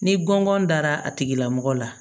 Ni gɔngɔn dara a tigila mɔgɔ la